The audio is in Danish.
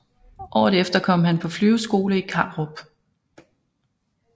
Året efter kom han på flyveskole i Karup